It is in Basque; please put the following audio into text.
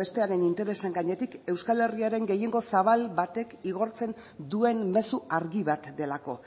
bestearen interesen gainetik euskal herriaren gehiengo zabal batek igortzen duen mezu argi bat delako